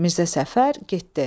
Mirzə Səfər getdi.